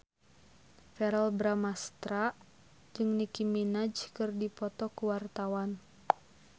Verrell Bramastra jeung Nicky Minaj keur dipoto ku wartawan